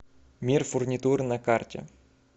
мир фурнитуры на карте